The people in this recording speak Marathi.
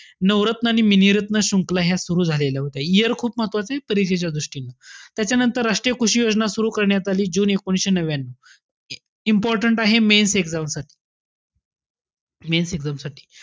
नवरत्न मिनिरत्न श्रुंखला ह्या सुरु झालेल्या होत्या. year खूप महत्वाचंय परीक्षेच्या दृष्टीने. त्याच्यानंतर राष्ट्रीय कृषी योजना सुरु करण्यात आली, एकोणविशे नव्यान्यू. Important आहे, mains exam साठी. mains exam साठी.